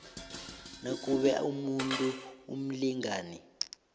nakube umuntu umlingani